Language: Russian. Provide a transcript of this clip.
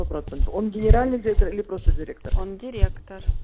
процент он генеральный директор или просто директор он директор